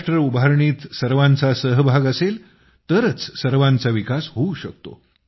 राष्ट्र उभारणीत सर्वांचा सहभाग असेल तरच सर्वांचा विकास होऊ शकतो